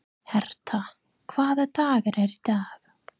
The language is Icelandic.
Herta, hvaða dagur er í dag?